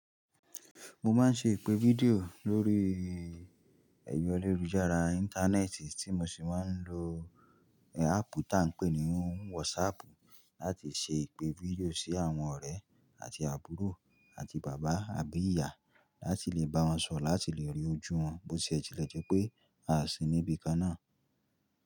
Mo máa ń ṣe ìpè fídíò lórí ẹ̀ro ayelujúára Íńtánẹ́ẹ̀tì tí mo sì máa ń lo áàpù tá ń pè ní WhatsApp láti ṣe ìpè fídíò sí àwọn ọ̀rẹ́ àti àbúrò àti bàbá àbí ìyá láti lè bá wọn sọ̀rọ̀, láti lè rí ojú wọn bó ṣe ẹ ti le jẹ́ pé a sì níbi kan náà.